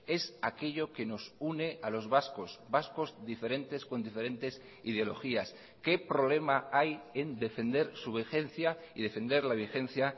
es aquello que nos une a los vascos vascos diferentes con diferentes ideologías qué problema hay en defender su vigencia y defender la vigencia